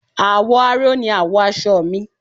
Àwọ̀ aró ni àwọ̀ aṣọ mi